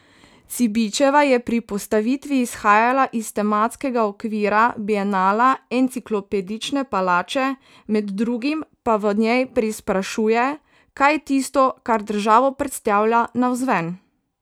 Cibičeva je pri postavitvi izhajala iz tematskega okvira bienala Enciklopedične palače, med drugim pa v njej preizprašuje, kaj je tisto, kar državo predstavlja navzven.